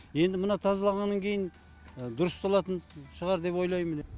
енді мына тазалағаннан кейін дұрысталатын шығар деп ойлаймын